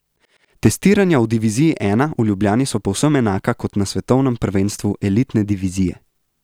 Testiranja v diviziji I v Ljubljani so povsem enaka kot na svetovnem prvenstvu elitne divizije.